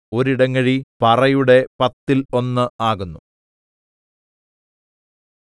ഒരു ഇടങ്ങഴി പറയുടെ പത്തിൽ ഒന്ന് ആകുന്നു